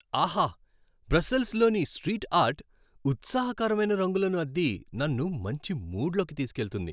ఆహా! బ్రస్సెల్స్లోని street art ఉత్సాహకరమైన రంగులను అద్ది నన్ను మంచి మూడ్లోకి తీసుకెళుతుంది.